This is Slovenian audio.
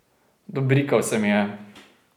Dobrikal se mi je.